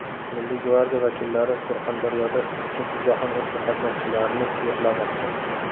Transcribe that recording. Milliy gvardiya vakillari Surxondaryoda Ikkinchi jahon urushi qatnashchilarini yo‘qlamoqda.